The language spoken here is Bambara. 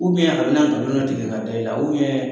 Ubiɲɛn a bɛna galon tigɛ ka da i la u biɲɛn